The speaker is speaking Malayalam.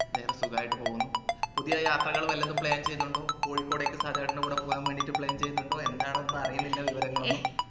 വേറെ സുഖായിട്ട് പോകുന്നു പുതിയ യാത്രകൾ വല്ലതും plan ചെയ്യുന്നുണ്ടോ കോഴിക്കോട്ടേക്ക് സഹദേവേട്ടന്റെ കൂടെ പോകാന് വേണ്ടിട്ട് plan ചെയ്യുന്നുണ്ടോ എന്നാണെന്ന് ഒന്നുമറിയുന്നില്ല വിവരങ്ങളൊന്നും